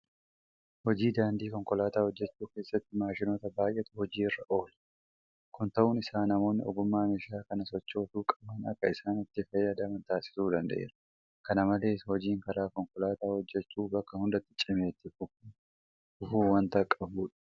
Hojii daandii konkolaataa hojjechuu keessatti maashinoota baay'eetu hojii irra oola. Kun ta'uun isaa namoonni ogummaa meeshaa kana sochoosuu qaban akka isaan itti fayyadaman taasisuu danda'eera. Kana malees hojiin karaa konkolaataa hojjechuu bakka hundatti cimee itti fufuu waanta qabudha.